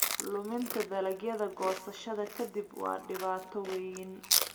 Luminta dalagyada goosashada ka dib waa dhibaato weyn.